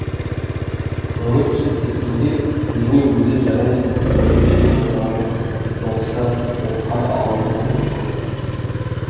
көңілі түсіп кеткенде өзіне өзі жарайсың түрмеде де отырған жоқсың соғыста оққа да алдырған жоқсың дейді